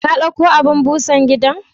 kadauko abun Busan gida?